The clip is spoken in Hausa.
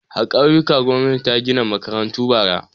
A ƙauyuka gwamnati ta gina makarantu bara.